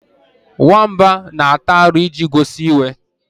Nwamba na-ata aru iji gosi iwe.